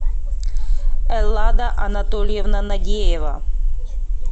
эллада анатольевна нагеева